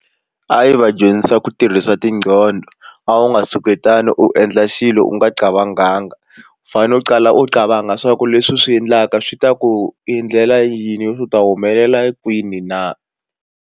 A yi va dyondzisa ku tirhisa tindqondo a wu nga suketani u endla xilo u nga u fanele u tsala u swa ku leswi u swi endlaka swi ta ku endlela yini u ta humelela kwini na.